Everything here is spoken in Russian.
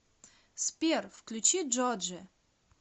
сбер включи джоджи